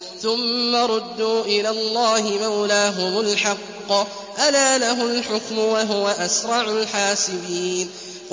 ثُمَّ رُدُّوا إِلَى اللَّهِ مَوْلَاهُمُ الْحَقِّ ۚ أَلَا لَهُ الْحُكْمُ وَهُوَ أَسْرَعُ الْحَاسِبِينَ